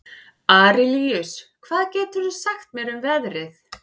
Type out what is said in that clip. Arilíus, hvað geturðu sagt mér um veðrið?